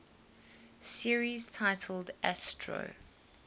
series titled astro